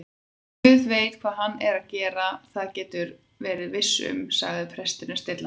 Guð veit hvað hann er að gera, það geturðu verið viss um- sagði presturinn stillilega.